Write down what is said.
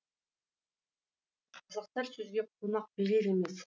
қазақтар сөзге қонақ берер емес